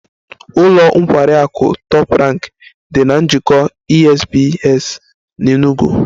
Ụlọ nkwari akụ Top Rank dị na Njikọ Esbs na Enugu